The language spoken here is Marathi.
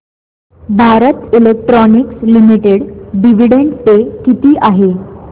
Bharat electronics limited dividend pay किती आहे